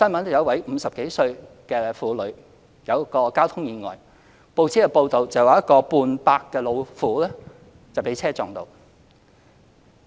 有一位50多歲的婦女遇到交通意外，報紙報道指"半百老婦"被車撞到。